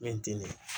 Mɛ n tɛ